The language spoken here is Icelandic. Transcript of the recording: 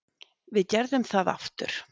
Við gerðum það aftur.